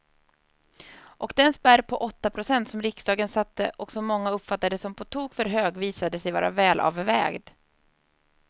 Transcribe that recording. Och den spärr på åtta procent som riksdagen satte och som många uppfattade som på tok för hög visade sig vara välavvägd.